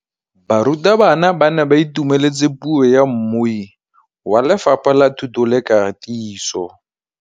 Barutabana ba ne ba itumeletse puô ya mmui wa Lefapha la Thuto le Katiso.